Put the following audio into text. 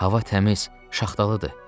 Hava təmiz, şaxtalıdır.